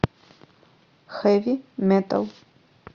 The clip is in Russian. хэви метал